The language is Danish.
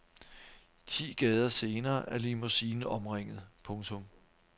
Ti gader senere er limousinen omringet. punktum